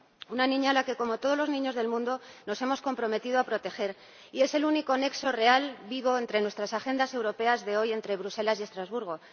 una niña a la que, como a todos los niños del mundo, nos hemos comprometido a proteger, y es el único nexo real vivo entre nuestras agendas europeas de hoy entre Bruselas y Estrasburgo.